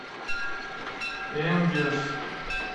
энгельс